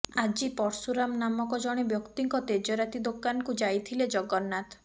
ଆଜି ପର୍ଶୁରାମ ନାମକ ଜଣେ ବ୍ୟକ୍ତିଙ୍କ ତେଜରାତି ଦୋକାନକୁ ଯାଇଥିଲେ ଜଗନ୍ନାଥ